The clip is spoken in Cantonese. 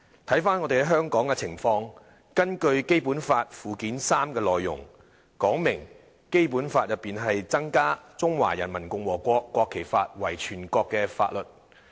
看回香港的情況，根據《基本法》附件三的內容，訂明在《基本法》中增加《中華人民共和國國旗法》為全國性法律。